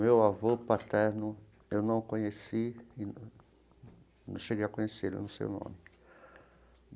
Meu avô paterno eu não conheci, e não cheguei a conhecê-lo, não sei o nome.